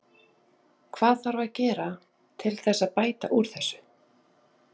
Hvað þarf að gera til þess að bæta úr þessu?